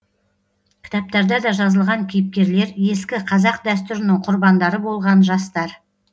кітаптарда да жазылған кейіпкерлер ескі қазақ дәстүрінің құрбандары болған жастар